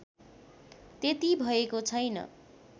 त्यति भएको छैन